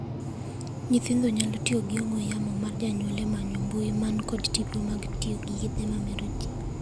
Nyithindo nyalo tiyo gi ong'we yamo mar janyuol e manyo mbui man kod tipo mag tiyo gi yedhe ma mero jii.